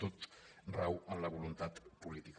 tot rau en la voluntat política